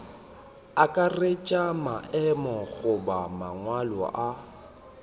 akaretša maemo goba mangwalo a